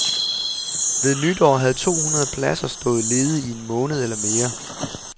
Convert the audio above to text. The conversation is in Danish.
Ved nytår havde to hundrede pladser stået ledig i en måned eller mere.